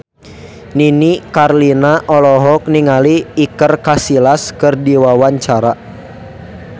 Nini Carlina olohok ningali Iker Casillas keur diwawancara